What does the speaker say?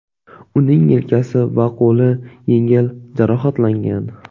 Uning yelkasi va qo‘li yengil jarohatlangan.